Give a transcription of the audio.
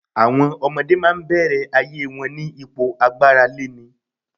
Àwọm ọmọdé máa ń bẹ̀rẹ̀ ayé wọn ní ipò agbáraléni.